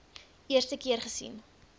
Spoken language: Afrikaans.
eerste keer gesien